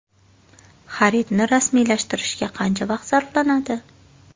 Xaridni rasmiylashtirishga qancha vaqt sarflanadi?